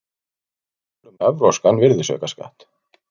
Tillögur um evrópskan virðisaukaskatt